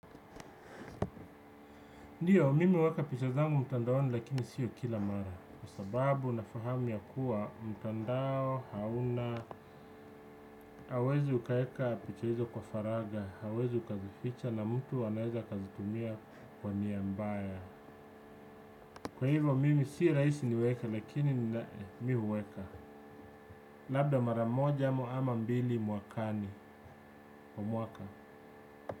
Ndiyo, mimi huweka picha zangu mtandaoni lakini sio kila mara. Kwa sababu na fahamu ya kuwa mtandao hauna, hauwezi ukaweka picha hizo kwa faraga, hauwezi ukazificha na mtu anaweza akazitumia kwa nia mbaya. Kwa hivyo, mimi si rahisi niweke lakini mimi huweka. Labda maramoja amu ama mbili mwakani. Mwaka.